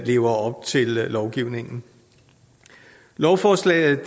lever op til lovgivningen lovforslaget